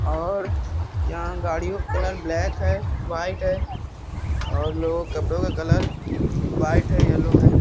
और यहां गाड़ियों का कलर ब्लैक है व्हाइट है और लोगों के कपड़ों का कलर व्हाइट है येलो है।